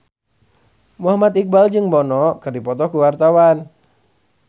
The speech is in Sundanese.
Muhammad Iqbal jeung Bono keur dipoto ku wartawan